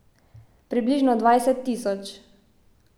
Približno dvajset tisoč.